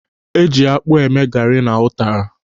Eji akpụ eme gari na ụtara.